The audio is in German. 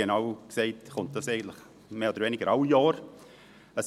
Genau genommen kommt es jedes Jahr wieder in den Grossen Rat.